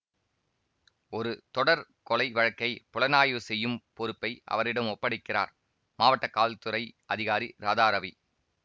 ஒரு தொடர் கொலை வழக்கை புலனாய்வு செய்யும் பொறுப்பை அவரிடம் ஒப்படைக்கிறார் மாவட்ட காவல்துறை அதிகாரி ராதாரவி